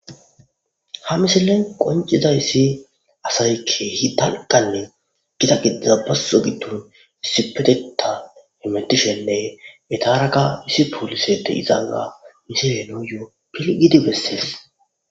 Ha misilen qoncizayissi asaykke hi danqanne gida giddiza basso giddon issipeteta hemetishenne etaraka isi poolisede izana misilenoyoo pilgidi bessees.